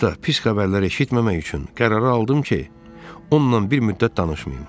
Hətta pis xəbərlər eşitməmək üçün qərara aldım ki, onunla bir müddət danışmayım.